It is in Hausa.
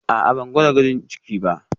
A'a, ban gama gwajin ciki ba